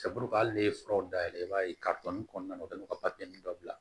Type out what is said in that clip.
hali n'i ye furaw dayɛlɛ i b'a ye kɔnɔna na u kɛlen don ka dɔ bila